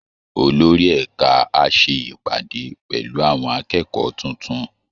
Olórí ẹ̀ka á ṣe ìpàdé pẹ̀lú àwọn akẹ́kọ̀ọ́ tuntun